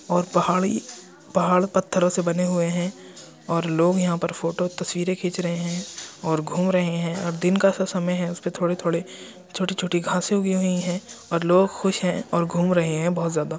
और पहाड़ी पहाड़ पत्थरों से बने हुए हैं और लोग यहां पर फोटो तस्वीरे खींच रहे हैं और घूम रहे हैं और दिन का सा समय है। उसमें थोड़े-थोड़े छोटी-छोटी घाँसे उगी हुई हैं और लोग खुश हैं और घूम रहे हैं बहुत ज्यादा।